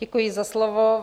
Děkuji za slovo.